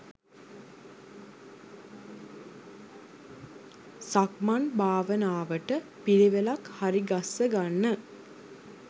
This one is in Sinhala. සක්මන් භාවනාවට පිළිවෙලක් හරිගස්ස ගන්න.